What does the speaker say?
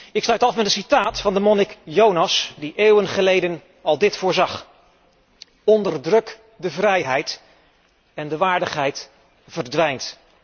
Ik sluit af met een citaat van de monnik Jonas, die eeuwen geleden al voorzag Onderdruk de vrijheid en de waardigheid verdwijnt.